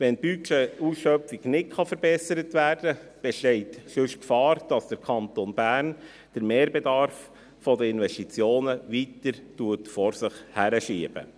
Wenn die Budgetausschöpfung nicht verbessert werden kann, besteht sonst die Gefahr, dass der Kanton Bern den Mehrbedarf der Investitionen weiter vor sich hinschiebt.